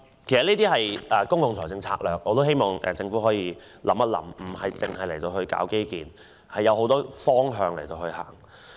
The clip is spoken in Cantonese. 這些都是公共財政策略，我希望政府想清楚，不僅要搞基建，還有很多其他方面要顧及。